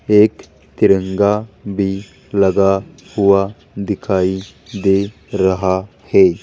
एक तिरंगा भी लगा हुआ दिखाई दे रहा है।